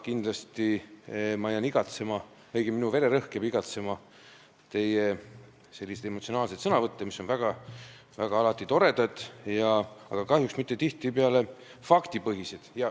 Kindlasti jään ma igatsema, õigemini, minu vererõhk jääb igatsema teie emotsionaalseid sõnavõtte, mis on alati väga toredad, aga kahjuks ei ole tihtipeale faktipõhised.